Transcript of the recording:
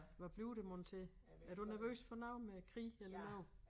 Hvad bliver det mon til? Er du nervøs for noget med krig eller noget